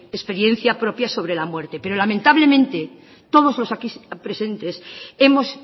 experiencia propia sobre la muerte pero lamentablemente todos los de aquí presentes hemos